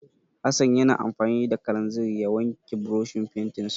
Hassan ya na amfani da kalanzir ya wanke burushin fentinsa.